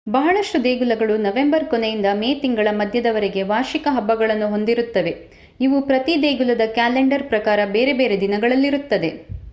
ಬಹಳಷ್ಟು ದೇಗುಲಗಳು ನವೆಂಬರ್ ಕೊನೆಯಿಂದ ಮೇ ತಿಂಗಳ ಮಧ್ಯದವರೆಗೂ ವಾರ್ಷಿಕ ಹಬ್ಬಗಳನ್ನು ಹೊಂದಿರುತ್ತವೆ ಇವು ಪ್ರತಿ ದೇಗುಲದ ಕ್ಯಾಲೆಂಡರ್ ಪ್ರಕಾರ ಬೇರೆ ಬೇರೆ ದಿನಗಳಲ್ಲಿರುತ್ತದೆ